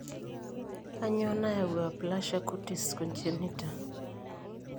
Kainyio nayau Aplasia cutis congenita?